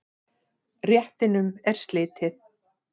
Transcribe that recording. Réttinum er slitið.